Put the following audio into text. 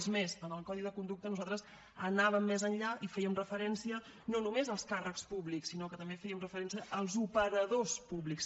és més en el codi de conducta nosaltres anàvem més enllà i fèiem referencia no només als càrrecs públics sinó que també fèiem referència als operadors públics